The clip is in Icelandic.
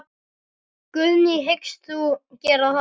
Guðný: Hyggst þú gera það?